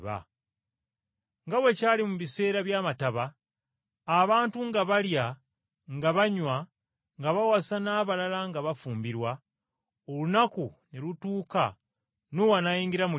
Nga bwe kyali mu biseera by’amataba, abantu nga balya nga banywa, nga bawasa n’abalala nga bafumbirwa, olunaku ne lutuuka Nuuwa n’ayingira mu lyato,